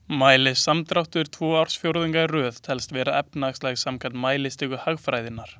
Mælist samdráttur tvo ársfjórðunga í röð telst vera efnahagslægð samkvæmt mælistiku hagfræðinnar.